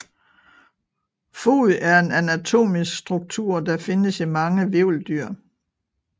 Fod er en anatomisk struktur der findes i mange hvirveldyr